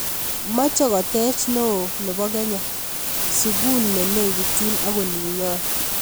Meche kotech neo nebo kenya sukul nelekinyin ak olinyo